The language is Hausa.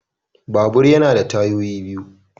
Babur yana da tayoyi biyu